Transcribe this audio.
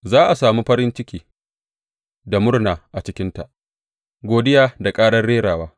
Za a sami farin ciki da murna a cikinta, godiya da ƙarar rerawa.